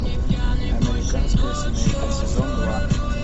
американская семейка сезон два